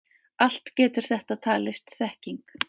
Allt getur þetta talist þekking.